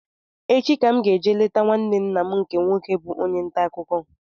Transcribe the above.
Echi ka mụ ga-eje leta nwanne nna m nke nwoke bụ onye ntaakụkọ